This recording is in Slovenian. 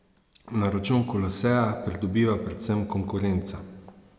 Na račun Koloseja pridobiva predvsem konkurenca.